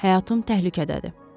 Həyatım təhlükədədir.